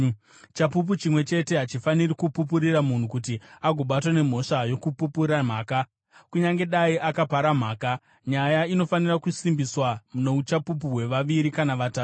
Chapupu chimwe chete hachifaniri kupupurira munhu kuti agobatwa nemhosva yokupupura mhaka, kunyange dai akapara mhaka. Nyaya inofanira kusimbiswa nouchapupu hwevaviri kana vatatu.